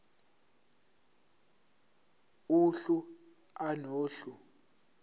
uhlu a nohlu